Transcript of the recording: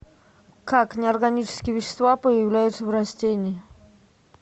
как неорганические вещества появляются в растении